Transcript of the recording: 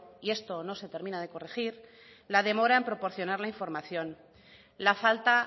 y eso no se termina de corregir la demora en proporcionar la información la falta